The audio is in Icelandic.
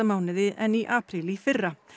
mánuði en í apríl í fyrra